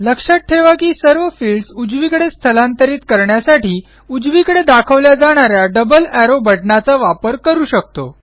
लक्षात ठेवा की सर्व फिल्डस उजवीकडे स्थलांतरित करण्यासाठी उजवीकडे दाखवल्या जाणा या डबल एरो बटणाचा वापर करू शकतो